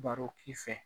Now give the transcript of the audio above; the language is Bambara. Baro k'i fɛ